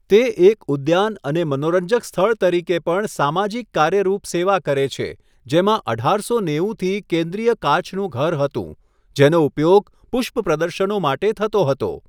તે એક ઉદ્યાન અને મનોરંજક સ્થળ તરીકે પણ સામાજિક કાર્યરૂપ સેવા કરે છે, જેમાં અઢારસો નેવુંથી કેન્દ્રીય કાચનું ઘર હતું જેનો ઉપયોગ પુષ્પ પ્રદર્શનો માટે થતો હતો.